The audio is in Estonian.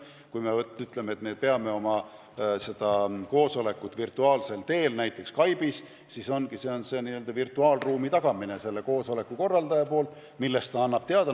Kui me ütleme, et peame oma koosoleku virtuaalsel teel, näiteks Skype'is, siis ongi virtuaalruumi tagamine, millest koosoleku korraldaja annab teada.